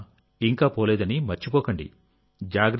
corona ఇంకా పోలేదని మర్చిపోకండి